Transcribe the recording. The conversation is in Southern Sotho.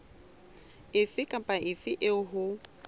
efe kapa efe eo ho